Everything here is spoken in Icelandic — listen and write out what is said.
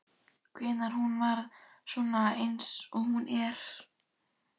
Hvenær hún varð svona eins og hún er.